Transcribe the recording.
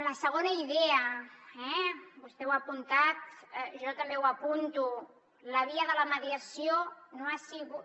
la segona idea vostè ho ha apuntat jo també ho apunto la via de la mediació no ha sigut